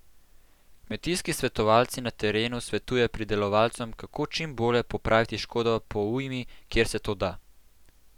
Kmetijski svetovalci na terenu svetujejo pridelovalcem, kako čim bolje popraviti škodo po ujmi, kjer se to da.